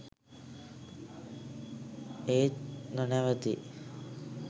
ඒත් නොනැවතී